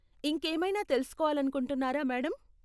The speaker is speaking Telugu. ఇంకేమైనా తెలుసుకోవాలనుకుంటున్నారా మేడం?